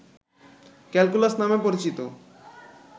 calculus নামে পরিচিত